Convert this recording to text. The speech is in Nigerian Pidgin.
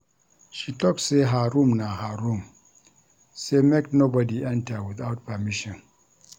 She tok sey her room na her room sey make nobodi enta witout permission.